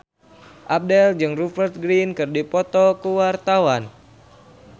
Abdel jeung Rupert Grin keur dipoto ku wartawan